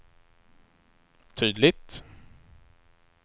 tydligt